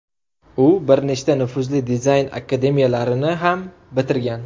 U bir nechta nufuzli dizayn akademiyalarini ham bitirgan.